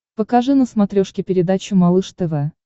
покажи на смотрешке передачу малыш тв